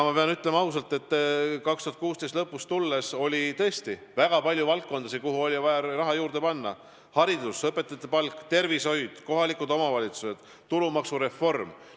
Ma pean ausalt ütlema, et pärast 2016. aasta lõppu oli tõesti väga palju valdkondasid, kuhu oli raha vaja juurde panna: haridus, sh õpetajate palk, tervishoid, kohalikud omavalitsused, tulumaksureform.